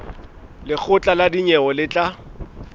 lekgotla la dinyewe le tla